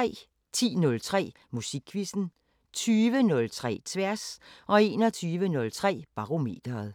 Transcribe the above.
10:03: Musikquizzen 20:03: Tværs 21:03: Barometeret